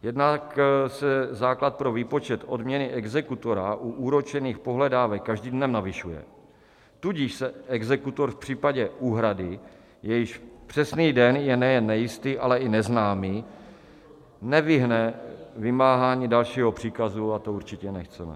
Jednak se základ pro výpočet odměny exekutora u úročených pohledávek každým dnem navyšuje, tudíž se exekutor v případě úhrady, jejíž přesný den je nejen nejistý, ale i neznámý, nevyhne vymáhání dalšího příkazu, a to určitě nechceme.